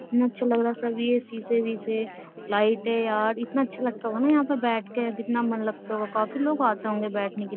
इतना अच्छा लग रहा है सब ये सी से लाइट है यार इतना अच्छा लगता होगा ना यहां पर बैठ के कितना मन लगता होगा काफी लोग आते होंगे बैठने के लिए --